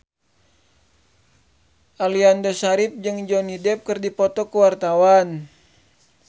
Aliando Syarif jeung Johnny Depp keur dipoto ku wartawan